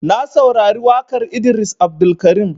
Na saurari waƙar Idris Abdulkarim.